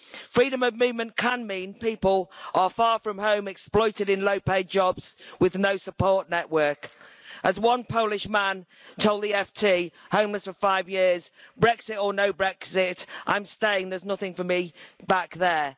Freedom of movement can mean people are far from home, exploited in low paid jobs, with no support network. As one Polish man told the FT, homeless for five years Brexit or no Brexit, I'm staying, there's nothing for me back there'.